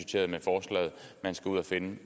man skal ud at finde